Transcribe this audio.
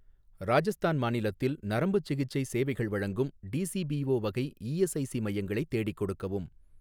ராஜஸ்தான் மாநிலத்தில் நரம்புச் சிகிச்சை சேவைகள் வழங்கும் டிஸிபீஓ வகை இஎஸ்ஐஸி மையங்களை தேடிக் கொடுக்கவும்.